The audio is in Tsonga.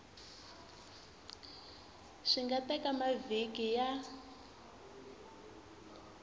swi nga teka mavhiki ya